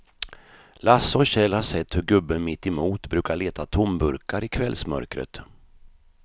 Lasse och Kjell har sett hur gubben mittemot brukar leta tomburkar i kvällsmörkret.